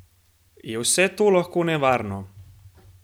Je vse to lahko nevarno?